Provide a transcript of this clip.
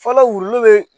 Fɔlɔ wulu be